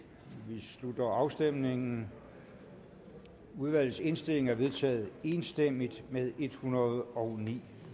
vi slutter afstemningen udvalgets indstilling er vedtaget enstemmigt med en hundrede og ni